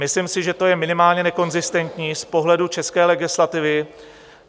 Myslím si, že to je minimálně nekonzistentní z pohledu české legislativy.